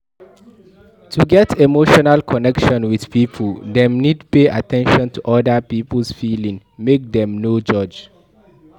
To get emotional connection with pipo dem need pay at ten tion to oda pipo's feeeling make dem no judge